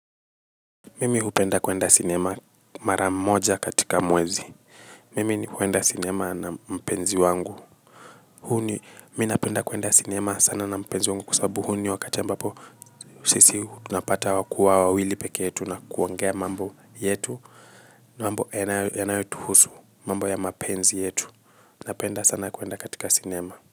Mimi upenda kwenda cinema maramoja katika mwezi. Mimi upenda kwenda cinema na mpenzi wangu. Huni, minapenda kwenda cinema sana na mpenzi wangu kwa sababu huni wakachamba po sisi tunapata wakua wawili peke yetu na kuongea mambo yetu. Mambo yanayotuhusu mambo ya mapenzi yetu. Napenda sana kwenda katika cinema.